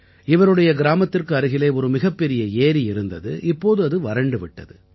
இவருடைய கிராமத்திற்கு அருகிலே ஒரு மிகப்பெரிய ஏரி இருந்தது இப்போது அது வறண்டு விட்டது